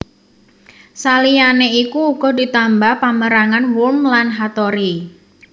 Saliyané iku uga ditambah pamérangan Wurm lan Hattori